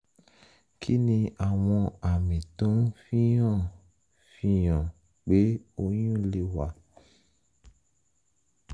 kí ni àwọn àmì tó ń fi hàn ń fi hàn pé oyún lè wà?